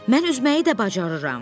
Mən üzməyi də bacarıram.